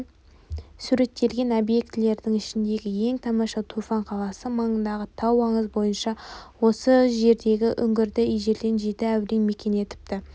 суреттелген объектілердің ішіндегі ең тамашасы турфан қаласы маңындағы тау аңыз бойынша осы жердегі үңгірді ежелден жеті әулие мекен етіпті